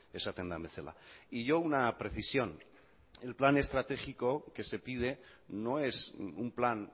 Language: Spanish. esaten den bezala y yo una precisión el plan estratégico que se pide no es un plan